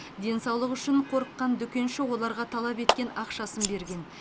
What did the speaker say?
денсаулығы үшін қорыққан дүкенші оларға талап еткен ақшасын берген